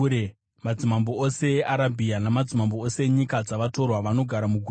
madzimambo ose eArabhia namadzimambo ose enyika dzavatorwa vanogara mugwenga;